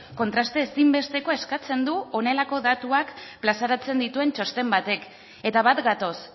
kontraste ezinbestekoa eskatzen du honelako datuak plazaratzen dituen txosten batek eta bat gatoz